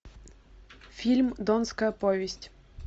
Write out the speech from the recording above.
фильм донская повесть